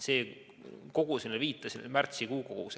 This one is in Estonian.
See kogus, millele viitasin, on märtsikuu kogus.